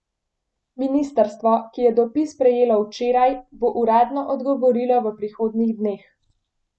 Ministrstvo, ki je dopis prejelo včeraj, bo uradno odgovorilo v prihodnjih dneh.